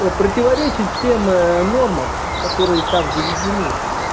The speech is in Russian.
противоречит всем нормам которые там заведены